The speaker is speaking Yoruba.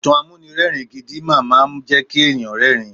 Ìtàn amúnirẹ́ẹ̀rin gidi máama jẹ́ kí èèyàn rẹ́rin.